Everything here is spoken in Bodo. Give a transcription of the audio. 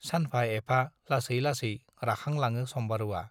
सानफा-एफा लासै लासै राखांलाङो सम्बारुवा।